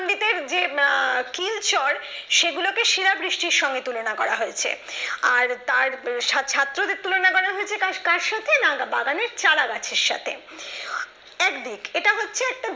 এর যে আহ কিল চর সেগুলোকে শিলাবৃষ্টির সঙ্গে তুলনা করা হয়েছে আর তার উম ছা ছাত্রদের তুলনা করা হয়েছে কা কার সাথে নাগা বাগানের চারা গাছের সাথে একদিক। এটা হচ্ছে একটা দা